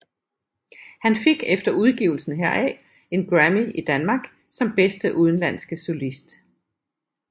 Han fik efter udgivelsen heraf en grammy i Danmark som bedste udenlandske solist